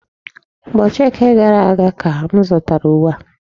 Ụbọchị Eke gara aga ka m zụtara uwe a.